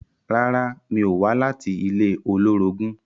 Rárá, mi ò wá láti ilé olórogún